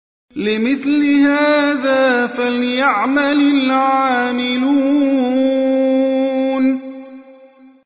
لِمِثْلِ هَٰذَا فَلْيَعْمَلِ الْعَامِلُونَ